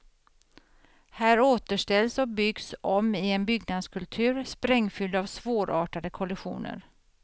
Här återställs och byggs om i en byggnadskultur sprängfylld av svårartade kollisioner.